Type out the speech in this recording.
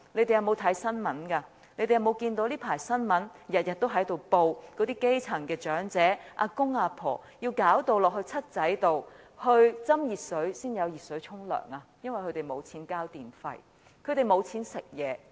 他們有沒有留意這陣子的新聞每天也報道基層長者要到 "7 仔"倒熱水才有熱水洗澡，因為他們沒有錢交電費和買東西吃。